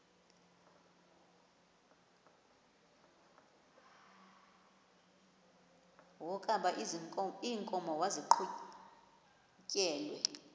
wokaba iinkomo maziqhutyelwe